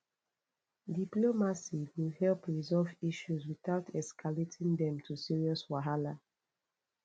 diplomacy go help resolve issues without escalating them to serious wahala